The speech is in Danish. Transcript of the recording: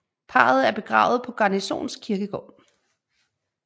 Parret er begravet på Garnisons Kirkegård